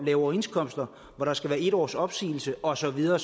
lave overenskomster hvor der skal være en års opsigelse og så videre